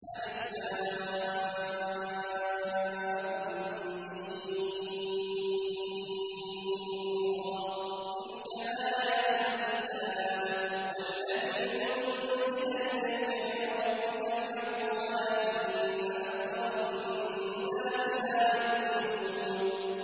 المر ۚ تِلْكَ آيَاتُ الْكِتَابِ ۗ وَالَّذِي أُنزِلَ إِلَيْكَ مِن رَّبِّكَ الْحَقُّ وَلَٰكِنَّ أَكْثَرَ النَّاسِ لَا يُؤْمِنُونَ